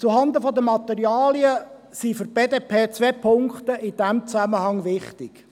Zuhanden der Materialen sind für die BDP in diesem Zusammenhang zwei Punkte wichtig.